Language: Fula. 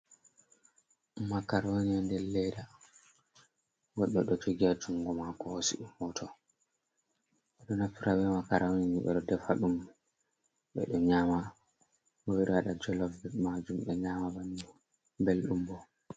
Makaroni ha nder leda goddo do jogi ha jungo mako, hosi ɗum hoto, ɓedo naftira be makaroni ni ɓedo defa dum, ɓedo nyama bo ɓedo waɗa jolof majum, ɓe nyama bannin beldum bo.